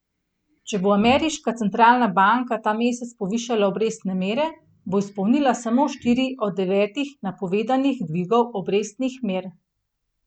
Če bo ameriška centralna banka ta mesec povišala obrestne mere, bo izpolnila samo štiri od devetih napovedanih dvigov obrestnih mer.